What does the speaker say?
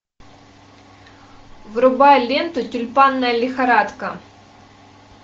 врубай ленту тюльпанная лихорадка